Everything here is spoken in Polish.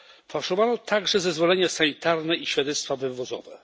Fałszowano także zezwolenia sanitarne i świadectwa wywozowe.